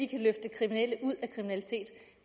kan løfte kriminelle ud